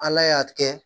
Ala y'a kɛ